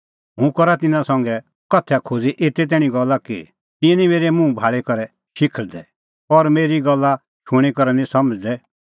हुंह करा तिन्नां संघै उदाहरणा दी एते तैणीं गल्ला कि तिंयां निं मेरै मुंह भाल़ी करै शिखल़दै और मेरी गल्ला शूणीं करै निं समझ़दै